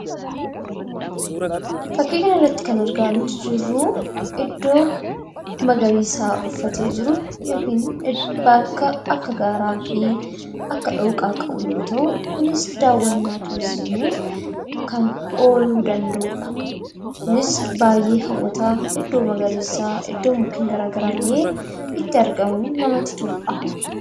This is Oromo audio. Fakkii kanarratti kan argaa jirru iddoo magariisa uffatee jiru yookiin bakka akka gaaraa fi akka dhooqaa qabu yoo ta’u, kunis daawwannaa turiizimiif kan ooluu danda’udha. Innis baay'ee hawwataa, iddoo magariisaa, iddoo mukeen gara garaa illee itti argamuun namatti toludha.